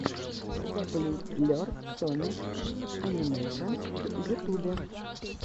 зэблюблер соник анимэйшенс в ютубе